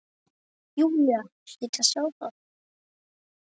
Júlía hlyti að sjá það.